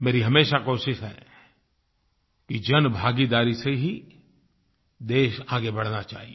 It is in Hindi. मेरी हमेशा कोशिश है कि जनभागीदारी से ही देश आगे बढ़ना चाहिए